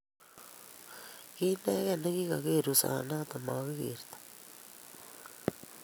Kiinegei negigageer ruset noto nemagigertoi